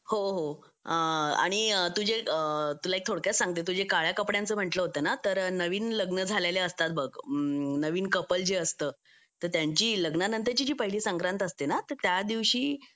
हो हो आणि तुला एक थोडक्यात सांगते तुझ्या काळया कपड्यांचे म्हणलं होतं ना तर नवीन लग्न झालेल्या असतात व नवीन कपल जे असतं तर त्यांची लग्नानंतरची जी पहिली संक्रांत असते ना तर त्या दिवशी